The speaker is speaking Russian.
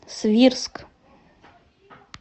свирск